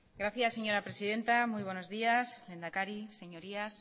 gracias señora presidenta muy buenos días lehendakari señorías